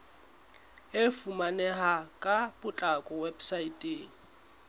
e fumaneha ka potlako weposaeteng